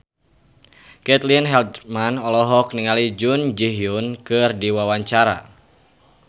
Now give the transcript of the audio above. Caitlin Halderman olohok ningali Jun Ji Hyun keur diwawancara